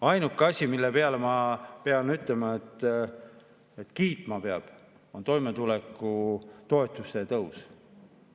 Ainuke asi, mille peale ma pean ütlema, et peab kiitma, on toimetulekutoetuse tõus.